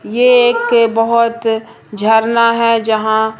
ये एक बहोत झरना है जहां--